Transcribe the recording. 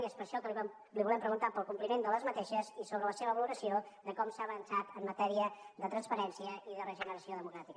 i és per això que li volem preguntar pel compliment d’aquestes mesures i sobre la seva valoració de com s’ha avançat en matèria de transparència i de regeneració democràtica